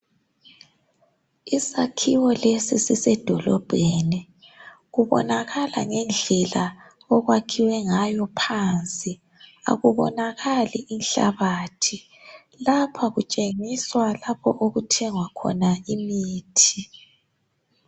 Isakhiwo lesi sisedolobheni kubonakala ngendlela okwakhiwe ngayophansi akubonakali inhlabathi lapha kutshengiswa lapha okuthengwa khona imithi.